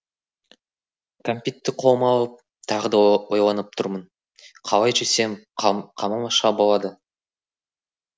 кәмпитті қолыма алып тағы да ойланып тұрмын қалай жесем қалмақша болады